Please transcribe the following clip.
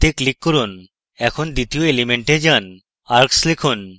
এবং apply তে click করুন এখন দ্বিতীয় element এ যান এবং arcs লিখুন